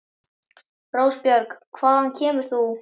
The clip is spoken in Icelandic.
Rósbjörg, hvaðan kemur þú?